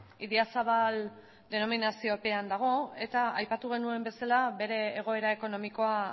idiazabal denominaziopean dago eta aipatu genuen bezala bere egoera ekonomikoa